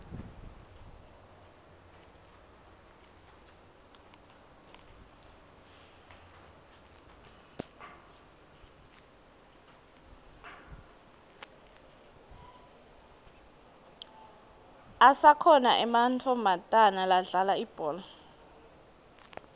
asakhona ematfomatana ladlala ibhola